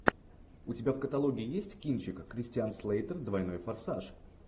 у тебя в каталоге есть кинчик кристиан слейтер двойной форсаж